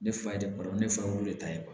Ne fa ye barama ne fa wolo de ta ye